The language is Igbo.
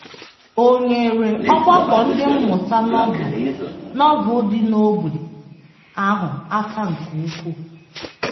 O nyeere ọgbakọ Ndị Mmụta Novel Novel dị n’ógbè ahụ aka nke ukwuu.